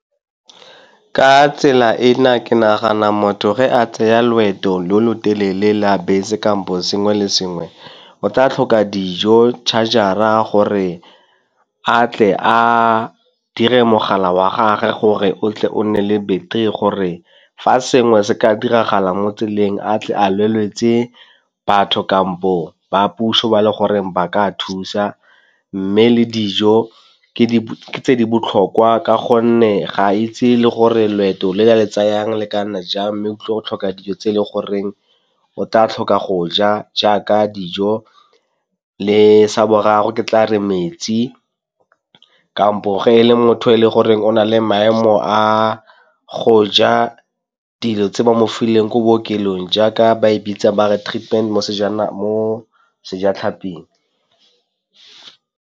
Ka tsela ena, ke nagana motho re a tsaya loeto lo lo telele la bese kampo sengwe le sengwe, o tla tlhoka dijo, charger-ra gore a tle a dire mogala wa gage gore o tle o nne le battery gore fa sengwe se ka diragala mo tseleng a tle a leletse batho kampo bong ba puso ba le gore ba ka thusa. Mme le dijo ke tse di botlhokwa ka gonne ga a itse le gore loeto lo le tsayang le ka nna jang mme o tlile go tlhoka dijo tse e leng goreng o tla tlhoka go ja jaaka dijo, le sa boraro ke tla re metsi. Kampo ge e le motho e le gore o na le maemo a go ja dilo tse ba mo fileng ko bookelong jaaka ba e bitsa ba re treatment mo Sejatlhaping.